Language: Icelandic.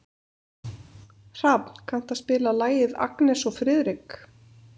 Hrafn, kanntu að spila lagið „Agnes og Friðrik“?